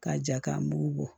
K'a ja ka mugu bɔ